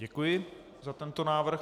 Děkuji za tento návrh.